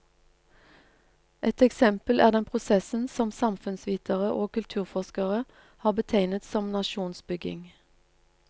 Et eksempel er den prosessen som samfunnsvitere og kulturforskere har betegnet som nasjonsbygging.